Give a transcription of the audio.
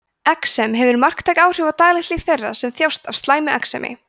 exem hefur marktæk áhrif á daglegt líf þeirra sem þjást af slæmu exemi